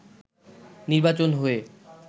নির্বাচন হয়ে